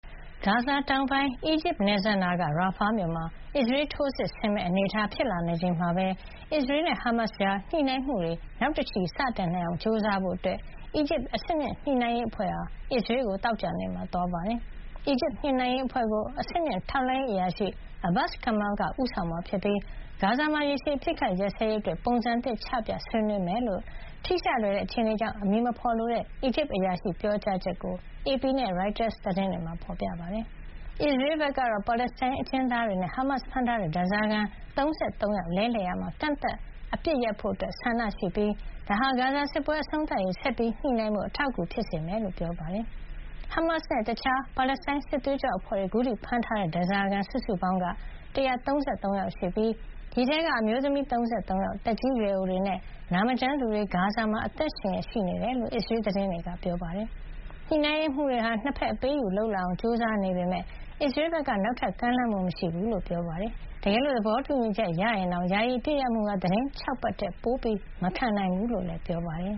ဂါဇာတောင်ပိုင်း အီဂျစ်နယ်စပ်နားက ရာဖာမြို့မှာ အစ္စရေး ထိုးစစ်ဆင်မယ့်အနေအထား ဖြစ်လာနေချိန်မှာပဲ အစ္စရေးနဲ့ ဟားမတ်စ်ကြား ညှိနှိုင်းမှုတွေ နောက်တချီ စတင်နိုင်အောင်ကြိုးစားဖို့ အီဂျစ်အဆင့်မြင့် ညှိနှိုင်းရေးအဖွဲ့ဟာ အစ္စရေးကို သောကြာနေ့ သွားရောက်ပါတယ်။ အီဂျစ်ညှိနှိုင်းရေးအဖွဲ့ကို အဆင့်မြင့် ထောက်လှမ်းရေးအရာရှိ Abbas Kamel က ဦးဆောင်မှာဖြစ်ပြီး ဂါဇာမှာ ရေရှည် အပစ်အခတ်ရပ်စဲရေးအတွက် ပုံစံအသစ်ချပြ ဆွေးနွေးဖို့ ရှိတယ်လို့ ထိရှလွယ်တဲ့ အခြေအနေကြောင့် အမည်မဖေါ်လိုတဲ့ အီဂျစ်အရာရှိရဲ့ပြောကြားချက်ကို AP နဲ့ ရိုက်တာသတင်းတွေမှာ ဖေါ်ပြပါတယ်။ အစ္စရေးဘက်ကတော့ ပါလက်စတိုင်းအကျဉ်းသားတွေနဲ့ ဟားမတ်စ်တို့ ဖမ်းထားတဲ့ ဓါးစာခံ ၃၃ ယောက် လဲလှယ်ရာမှာ ကန့်သတ်အပစ်ရပ်ဖို့ ဆန္ဒရှိနေပြီး ဒါဟာ ဂါဇာစစ်ပွဲ အဆုံးသတ်ရေး ဆက်ညှိနှိုင်းဖို့ အထောက်အကူ ဖြစ်စေမယ်လို့လည်း ပြောပါတယ်။ ဟားမတ်စ်နဲ့ တခြား ပါလက်စတိုင်း စစ်သွေးကြွအဖွဲ့တွေ အခုထိ ဖမ်းထားတဲ့ ဓါးစာခံ စုစုပေါင်းက ၁၃၃ ယောက်ရှိနေပြီး ဒီအထဲက အမျိုးသမီး ၃၃ ယောက်၊ သက်ကြီးရွယ်အိုတွေနဲ့ နာမကျန်းသူတွေ ဂါဇာမှာ အသက်ရှင်လျက် ရှိနေတယ်လို့ အစ္စရေးသတင်းတွေက ဖေါ်ပြပါတယ်။ ညှှိုနှိုင်းရေးမှုးတွေဟာ နှစ်ဘက် အပေးအယူ လုပ်လာအောင် ကြိုးစားနေပေမယ့် အစ္စရေးဘက်က နောက်ထပ် ကမ်းလှမ်းမှု မရှိဘူးလို့လည်း ပြောပါတယ်။ တကယ်လို့ သဘောတူညီချက် ရရင်တောင် ယာယီအပစ်ရပ်မှုဟာ သီတင်း ၆ ပတ်ထက် ပိုမခံနိုင်ဘူးလို့လည်း ပြောပါတယ်